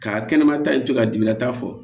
Ka kɛnɛmata in to ka dimilata fɔ